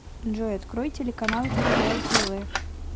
джой открой телеканал кхл тв